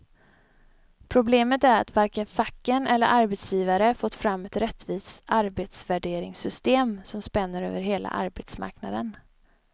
Problemet är att varken facken eller arbetsgivare fått fram ett rättvist arbetsvärderingssystem som spänner över hela arbetsmarknaden.